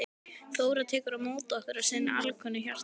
Þóra tekur á móti okkur af sinni alkunnu hjartahlýju.